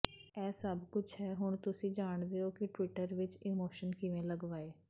ਇਹ ਸਭ ਕੁਝ ਹੈ ਹੁਣ ਤੁਸੀਂ ਜਾਣਦੇ ਹੋ ਕਿ ਟਵੀਟਰ ਵਿਚ ਈਮੋਸ਼ਨ ਕਿਵੇਂ ਲਗਵਾਏ